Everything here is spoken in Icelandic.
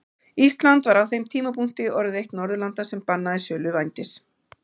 Ísland var á þeim tímapunkti orðið eitt Norðurlanda sem bannaði sölu vændis.